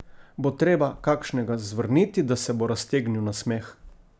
Bo treba kakšnega zvrniti, da se bo raztegnil nasmeh?